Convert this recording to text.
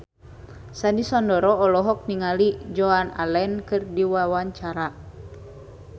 Sandy Sandoro olohok ningali Joan Allen keur diwawancara